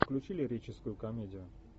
включи лирическую комедию